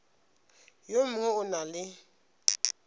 yo mongwe o na le